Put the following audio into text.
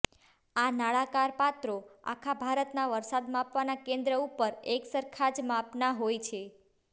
આ નળાકાર પાત્રો આખા ભારતના વરસાદ માપવાના કેન્દ્ર ઉપર એકસરખા જ માપનાં હોય છે